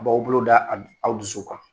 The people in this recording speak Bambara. A' b'aw bolo da aw dusu kan.